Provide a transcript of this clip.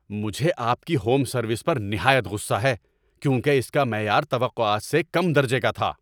مجھے آپ کی ہوم سروس پر نہایت غصہ ہے کیونکہ اس کا معیار توقعات سے کم درجے کا تھا۔